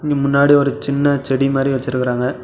இங்க முன்னாடி ஒரு சின்ன செடி மாரி வெச்சிருக்கறாங்க.